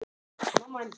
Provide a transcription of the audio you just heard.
Og rétti honum blómin.